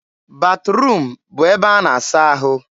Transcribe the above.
batruum bụ ebe a na-asa ahụ.